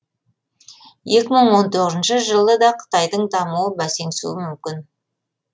екі мың он тоғызыншы жылы да қытайдың дамуы бәсеңсуі мүмкін